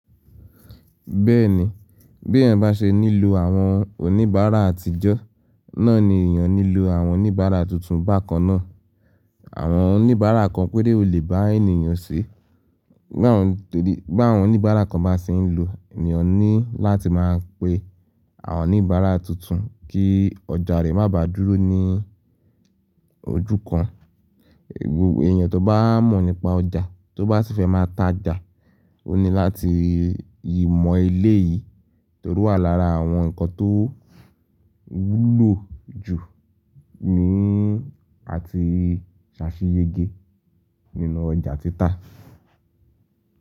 Bẹ́ẹ̀ni, bí èèyàn bá ṣe nílò àwọn oníbàárà àtijọ́, náà ni èèyàn nílò àwọn oníbàárà tuntun bákan náà. Àwọn oníbàárà kan péré olè bá èèyàn ṣe, bá àwọn oníbàárà kan bá ṣe ń lù, èèyàn ní láti máa pe àwọn oníbàárà tuntun kí ọjà rẹ̀ má bà dúró ní ojú kan. Èèyàn tó bá mọ̀ nípa ọjà, tó bá sì fẹ́ máa ta jà, ó ní láti yímo eléyìí torí wà lára àwọn nǹkan tó wúlò jù ní àti ṣàfiyège nínú ọjà títa.